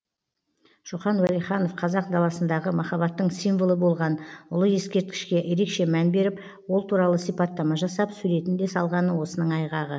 шоқан уәлиханов қазақ даласындағы махаббаттың символы болған ұлы ескерткішке ерекше мән беріп ол туралы сипаттама жасап суретін де салғаны осының айғағы